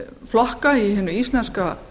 flokkar í hinu íslenska